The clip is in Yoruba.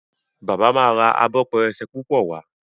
bàbá má rà Abọ́ pẹrẹsẹ púpọ wá.